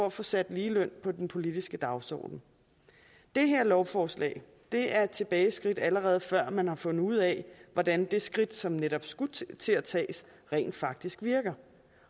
at få sat ligeløn på den politiske dagsorden det her lovforslag er et tilbageskridt allerede før man har fundet ud af hvordan det skridt som netop skulle til at tages rent faktisk virker